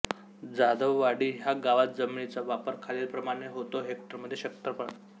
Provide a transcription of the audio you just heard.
जाधववाडी ह्या गावात जमिनीचा वापर खालीलप्रमाणे होतो हेक्टरमध्ये क्षेत्रफळ